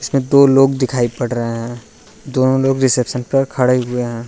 दो लोग दिखाई पड़ रहे हैं। दोनों लोग रिसेप्शन पड़ खड़े हुए हैं।